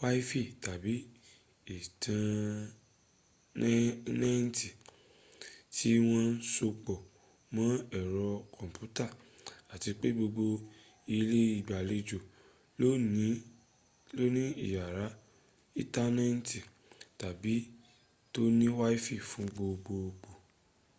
wifi tàbí íntánẹ́ẹ̀tì tí wọ́n sopọ̀ mọ́ ẹ̀rọ kọ́mpútà àti pé gbogbo ilé ìgbàlejò lóní ìyàrá íntánẹ́ẹ̀tì tàbí ibi tóní wifi fún gbogbogbò